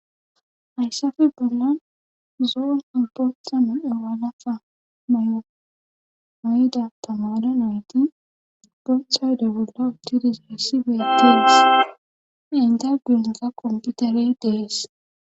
hayssappe bollan zo'onne boothape nam'u wlaxa mayomay7ida tamada nayti gohhayde bolla uttidi seessi betins intaginasa komputare dees